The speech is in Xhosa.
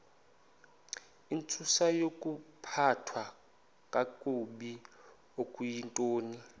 intsusayokuphathwa kakabi okuyintoni